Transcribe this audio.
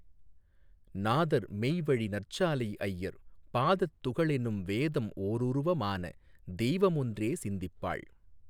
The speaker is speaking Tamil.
நாதர் மெய்வழி நற்சாலைஐயர் பாதத்துகளெனும் வேதம் ஓருருவமான தெய்வமொன்றே சிந்திப்பாள்